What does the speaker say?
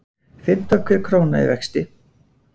Fimmta hver króna í vexti